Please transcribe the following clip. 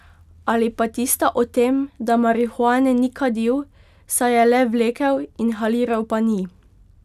Ali pa tista o tem, da marihuane ni kadil, saj je le vlekel, inhaliral pa ni.